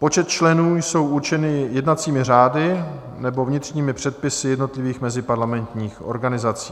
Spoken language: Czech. Počty členů jsou určeny jednacími řády nebo vnitřními předpisy jednotlivých meziparlamentních organizací.